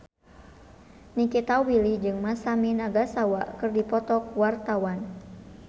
Nikita Willy jeung Masami Nagasawa keur dipoto ku wartawan